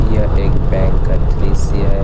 यह एक बैंक का दृश्य है।